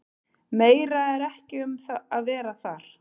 Meira er ekki um að vera þar.